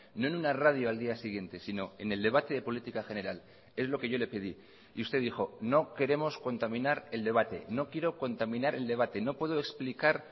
no en una radio al día siguiente sino en el debate de política general es lo que yo le pedí y usted dijo no queremos contaminar el debate no quiero contaminar el debate no puedo explicar